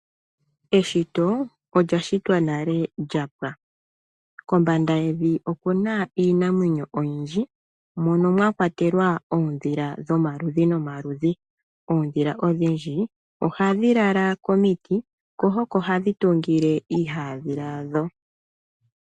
Eshito olyashitwa nale lyapwa, kombanda yevi okuna iinamwenyo oyindji mono mwakwatelwa oondhila dhomaludhi nomaludhi. Oondhila odhindji ohadhi lala komiti ko oko hadhi tungile iihaandhila yadho.